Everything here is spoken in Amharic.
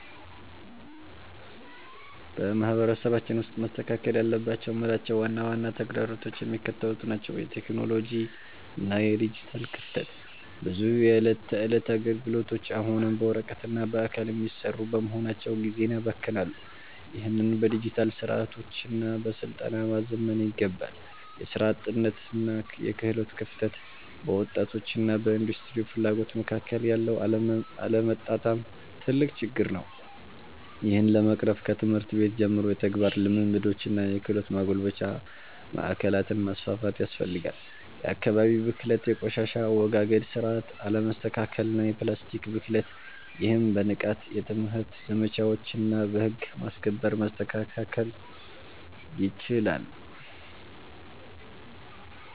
በማህበረሰባችን ውስጥ መስተካከል አለባቸው የምላቸው ዋና ዋና ተግዳሮቶች የሚከተሉት ናቸው የቴክኖሎጂ እና የዲጂታል ክፍተት፦ ብዙ የዕለት ተዕለት አገልግሎቶች አሁንም በወረቀትና በአካል የሚሰሩ በመሆናቸው ጊዜን ያባክናሉ። ይህንን በዲጂታል ስርዓቶችና በስልጠና ማዘመን ይገባል። የሥራ አጥነትና የክህሎት ክፍተት፦ በወጣቶችና በኢንዱስትሪው ፍላጎት መካከል ያለው አለመጣጣም ትልቅ ችግር ነው። ይህን ለመቅረፍ ከትምህርት ቤት ጀምሮ የተግባር ልምምዶችንና የክህሎት ማጎልበቻ ማዕከላትን ማስፋፋት ያስፈልጋል። የአካባቢ ብክለት፦ የቆሻሻ አወጋገድ ስርዓት አለመስተካከልና የፕላስቲክ ብክለት። ይህም በንቃት የትምህርት ዘመቻዎችና በህግ ማስከበር መስተካከል ይችላል።